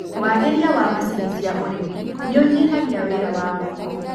Wagĩria wa macini cia ũrĩmi nĩũnyihagia wĩra wa moko.